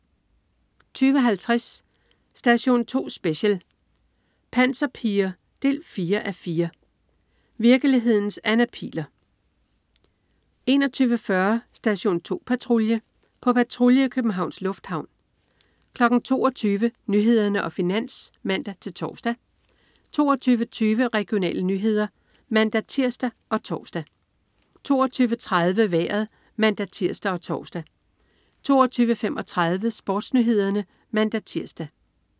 20.50 Station 2 Special: Panserpiger 4:4. Virkelighedens Anna Pihl'er 21.40 Station 2 Patrulje. På patrulje i Københavns Lufthavn 22.00 Nyhederne og Finans (man-tors) 22.20 Regionale nyheder (man-tirs og tors) 22.30 Vejret (man-tirs og tors) 22.35 SportsNyhederne (man-tirs)